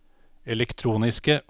elektroniske